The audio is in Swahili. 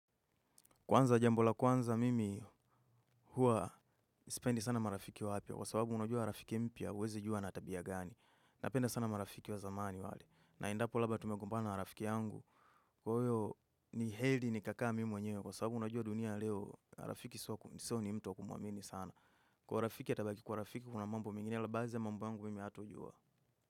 Kwanza jambola kwanza mimi hua sipendi sana marafiki wapya. Kwa sababu unajua rafiki mpya huwezi jua anatabia gani. Napenda sana marafiki wa zamani wale. Na endapo labda tumegombana na rafiki yangu. Kwa hiyo ni heri ni kakaamimi mwenye. Kwa sababu unajua dunia leo rafiki sio ni mtu wa kumwamini sana. Kwa rafiki atabaki kuwa rafiki kuna mambo mengine. Na baadhiya mambo yangu mimi hatojua.